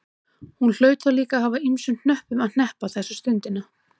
Hún hlaut líka að hafa ýmsum hnöppum að hneppa þessa stundina.